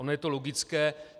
Ono je to logické.